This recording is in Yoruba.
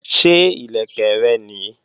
Ṣé ìlẹ̀kẹ̀ rẹ nìí?